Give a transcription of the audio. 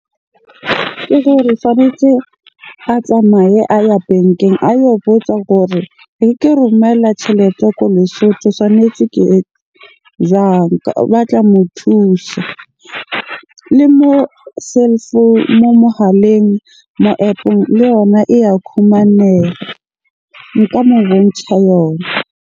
Ke gore tshwanetse a tsamaye a ye bankeng a yo botsa gore ke romela tjhelete ko Lesotho, tshwanetse jwang? Ba tla mo thusa. Le moo cell mo mohaleng, mo App-ong le yona e ya . Nka mo bontjha yona.